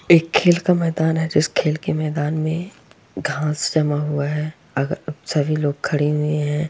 एक खेल का मैदान है जिस खेल के मैदान में घांस जमा हुआ है अगल सभी लोग खड़े हुए हैं।